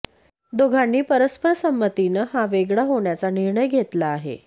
दोघांनी परस्पर संमतीनं हा वेगळं होण्याचा निर्णय घेतला आहे